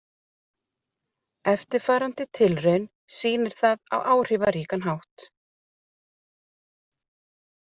Eftirfarandi tilraun sýnir það á áhrifaríkan hátt.